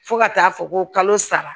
Fo ka taa fɔ ko kalo saba